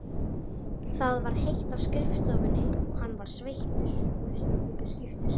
Það var heitt á skrifstofunni og hann var sveittur.